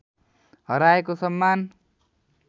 हराएको सम्मान